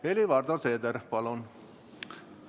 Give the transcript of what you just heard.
Helir-Valdor Seeder, palun!